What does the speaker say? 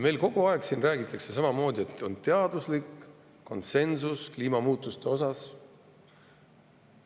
Meil kogu aeg räägitakse siin samamoodi, et kliimamuutuste osas on teaduslik konsensus.